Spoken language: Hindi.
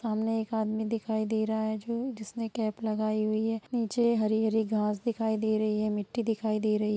सामने एक आदमी दिखाई दे रहा है जो जिसने कैप लगाई हुई है| नीचे हरी-हरी घास दिखाई दे रही है मिट्टी दिखाई दे रही है।